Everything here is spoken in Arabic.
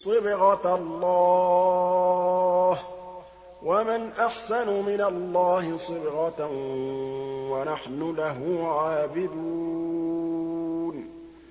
صِبْغَةَ اللَّهِ ۖ وَمَنْ أَحْسَنُ مِنَ اللَّهِ صِبْغَةً ۖ وَنَحْنُ لَهُ عَابِدُونَ